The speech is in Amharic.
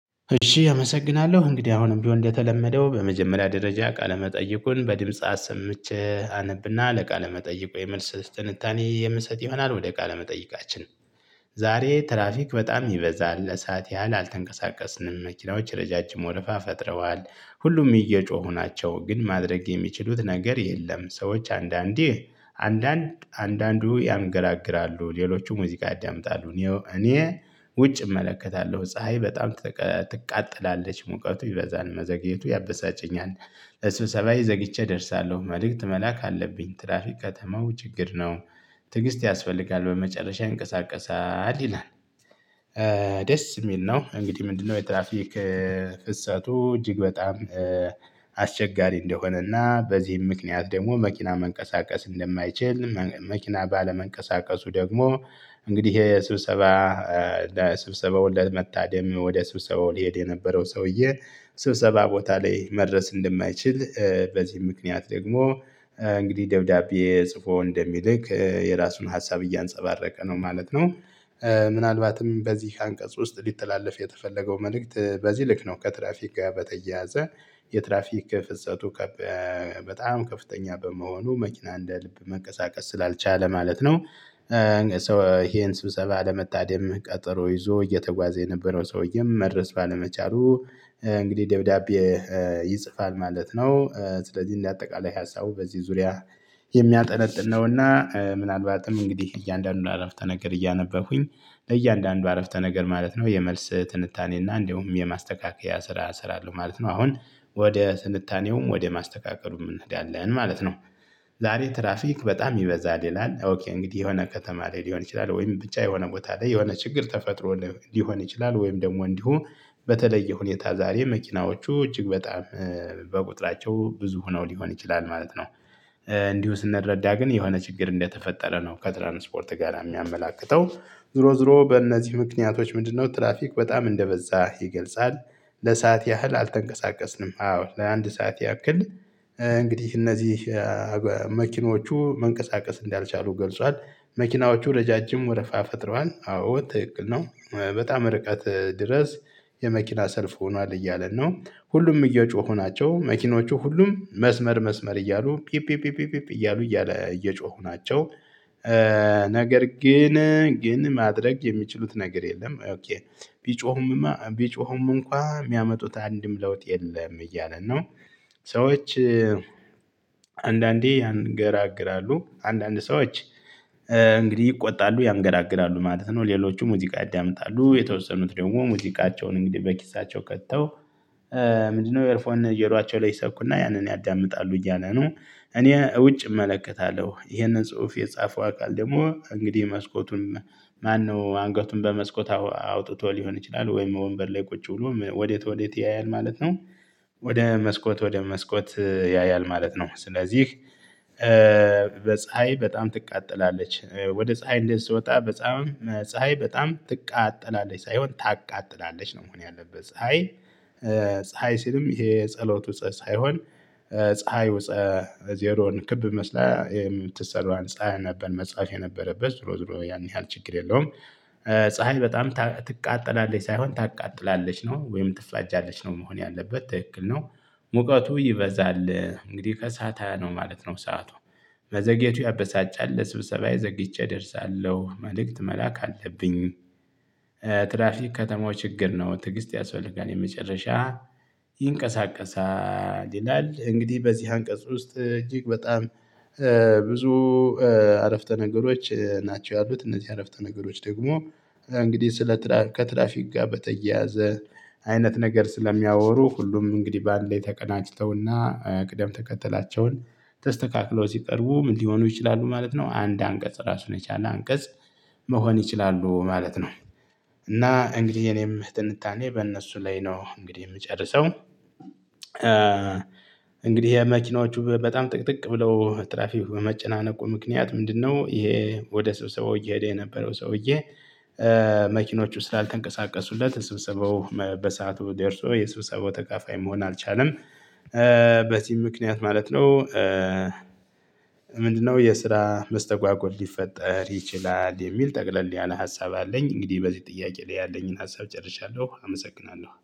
እሺ አመሰግናለሁ እንግዲህ አሁንም ቢሆን እንደተለመደው በመጀመሪያ ደረጃ ቃለ መጠይቁን በድምጽ አሰምቼ አነብና ለቃለ መጠይቁ የመልስ ትንታኔ የምሰጥ ይሆናል ወደ ቃለመጠይቃችን። ዛሬ ትራፊክ በጣም ይበዛል ለሰአት ያህል አልተንቀሳቀስንም መኪናዎች ረጃጅም ወረፋ ፈጥረዋል ሁሉም እየጮሁ ናቸው ግን ማድረግ የሚችሉት ነገር የለም። ሰዎች አንዳንዴ አንዳንድ አንዳንዱ ያንገራግራሉ ሌሎቹ ሙዚቃ ያዳምጣሉ እኔ እኔ ውጭ እመለከታለሁ ፀሀይ በጣም ትቃጠላለች ሙቀቱ ይበዛል መዘግየቱ ያበሳጨኛል። ለስብሰባዬ ዘግይቼ እደርሳለሁ መልእክት መላክ አለብኝ ትራፊ ቀተማው ችግር ነው። ትዕግስት ያስፈልጋል በመጨረሻ ይንቀሳቀሳል ይላል። ደስ የሚል ነው እንግዲህ ምንድነው? የትራፊክ ፍሰቱ እጅግ በጣም አስቸጋሪ እንደሆነና በዚህም ምክንያት ደግሞ መኪና መንቀሳቀስ እንደማይችል መኪና ባለመንቀሳቀሱ ደግሞ እንግዲህ ይሄ ስብሰባ ለስብሰባው ለመታደም ወደ ስብሰባው ሊሄድ የነበረው ሰውዬ ስብሰባ ቦታ ላይ መድረስ እንደማይችል በዚህ ምክንያት ደግሞ እንግዲህ ደብዳቤ ጽፎ እንደሚልክ የራሱን ሀሳብ እያንፀባረቀ ነው ማለት ነው። ምናልባትም በዚህ አንቀጽ ውስጥ ሊተላለፍ የተፈለገው መልእክት በዚህ ልክ ነው። ከትራፊክ ጋር በተያያዘ የትራፊክ ፍሰቱ በጣም ከፍተኛ በመሆኑ መኪና እንደ ልብ መንቀሳቀስ ስላልቻለ ማለት ነው። ሰው ይሄን ስብሰባ ለመታደም ቀጠሮ ይዞ እየተጓዘ የነበረው ሰውዬም መድረስ ባለመቻሉ እንግዲህ ደብዳቤ ይጽፋል ማለት ነው። ስለዚህ እንደ አጠቃላይ ሀሳቡ በዚህ ዙሪያ የሚያጠነጥን ነውና ምናልባትም እንግዲህ እያንዳንዱን አረፍተ ነገር እያነበብኩኝ ለእያንዳንዱ አረፍተ ነገር ማለት ነው የመልስ ትንታኔና እንደውም የማስተካከያ ስራ እሰራለሁ ማለት ነው። አሁን ወደ ትንታኔውም ወደ ማስተካከሉም እንሄዳለን ማለት ነው። ዛሬ ትራፊክ በጣም ይበዛል ይላል ኦኬ እንግዲህ የሆነ ከተማ ላይ ሊሆን ይችላል ወይም ብቻ የሆነ ቦታ ላይ የሆነ ችግር ተፈጥሮ ሊሆን ይችላል ወይም ደግሞ እንዲሁ በተለየ ሁኔታ ዛሬ መኪናዎቹ እጅግ በጣም በቁጥራቸው ብዙ ሆነው ሊሆን ይችላል ማለት ነው። እንዲሁ ስንረዳ ግን የሆነ ችግር እንደተፈጠረ ነው ከትራንስፖርት ጋራ የሚያመላክተው። ዞሮ ዞሮ በእነዚህ ምክንያቶች ምንድነው ትራፊክ በጣም እንደበዛ ይገልጻል። ለሰአት ያህል አልተንቀሳቀስንም አዎ ለአንድ ሰዓት ያክል እንግዲህ እነዚህ መኪኖቹ መንቀሳቀስ እንዳልቻሉ ገልጿል። መኪናዎቹ ረጃጅም ወረፋ ፈጥረዋል አዎ ትክክል ነው። በጣም ርቀት ድረስ የመኪና ሰልፍ ሆኗል እያለ ነው ሁሉም እየጮኹ ናቸው መኪኖቹ ሁሉም መስመር መስመር እያሉ ፒ ፒ ፒ እያሉ እያለ እየጮሁ ናቸው። ነገር ግን ግን ማድረግ የሚችሉት ነገር የለም። ቢጮኹም ቢጮኹም እንኳን የሚያመጡት አንድም ለውጥ የለም እያለን ነው። ሰዎች አንዳንዴ ያንገራግራሉ አንዳንድ ሰዎች እንግዲህ ይቆጣሉ ያንገራግራሉ ማለት ነው። ሌሎቹ ሙዚቃ ያዳምጣሉ የተወሰኑት ደግሞ ሙዚቃቸውን እንግዲህ በኪሳቸው ከተው ምንድነው ኤርፎን ጆሮአቸው ላይ ይሰኩና ያንን ያዳምጣሉ እያለ ነው። እኔ ውጭ እመለከታለሁ ይሄንን ጽሁፍ የጻፈው አካል ደግሞ እንግዲህ መስኮቱን ማነው አንገቱን በመስኮት አውጥቶ ሊሆን ይችላል ወይም ወንበር ላይ ቁጭ ብሎ ወዴት ወዴት ያያል ማለት ነው። ወደ መስኮት ወደ መስኮት ያያል ማለት ነው። ስለዚህ በፀሀይ በጣም ትቃጠላለች ወደ ፀሀይ እንደዚ ስወጣ በጻም ፀሀይ በጣም ትቃጠላለች ሳይሆን ታቃጥላለች ነው መሆን ያለበት ፀሀይ። ፀሀይ ሲልም ይሄ ፀሎቱ ሳይሆን ፀሀዩ ዜሮን ክብ መስላ የምትሳለዋን ፀሀይ ነበር መጻፍ የነበረበት ዞሮ ዞሮ ያን ያህል ችግር የለውም። ፀሀይ በጣም ትቃጠላለች ሳይሆን ታቃጥላለች ነው ወይም ትፋጃለች ነው መሆን ያለበት ትክክል ነው። ሙቀቱ ይበዛል እንግዲህ ከሰአታ ነው ማለት ነው ሰዓቱ መዘግየቱ ያበሳጫል ለስብሰባዬ ዘግቼ እደርሳለሁ መልእክት መላክ አለብኝ። ትራፊክ ከተማው ችግር ነው ትግስት ያስፈልጋል የመጨረሻ ይንቀሳቀሳል ይላል። እንግዲህ በዚህ አንቀጽ ውስጥ እጅግ በጣም ብዙ አረፍተ ነገሮች ናቸው ያሉት እነዚህ አረፍተ ነገሮች ደግሞ እንግዲህ ስለ ትራፊክ ከትራፊክ ጋር በተያያዘ አይነት ነገር ስለሚያወሩ ሁሉም እንግዲህ በአንዴ ተቀናጅተውና ቅደም ተከተላቸውን ተስተካክለው ሲቀርቡ ምን ሊሆኑ ይችላሉ ማለት ነው። አንድ አንቀጽ ራሱን የቻለ አንቀጽ መሆን ይችላሉ ማለት ነው። እና እንግዲህ የኔም ትንታኔ በእነሱ ላይ ነው እንግዲህ የምጨርሰው። ይሄ መኪናዎቹ በጣም ጥቅጥቅ ብለው ትራፊክ በመጨናነቁ ምክንያት ምንድነው? ይሄ ወደ ስብሰባው እየሄደ የነበረው ሰውዬ መኪኖቹ ስላልተንቀሳቀሱለት ስብሰባው በሰአቱ ደርሶ የስብሰባው ተካፋይ መሆን አልቻለም። በዚህ ምክንያት ማለት ነው። ምንድነው የስራ መስተጓጎል ሊፈጠር ይችላል የሚል ጠቅለል ያለ ሀሳብ አለኝ። እንግዲህ በዚህ ጥያቄ ላይ ያለኝን ሀሳብ ጨርሻለሁ። አመሰግናለሁ።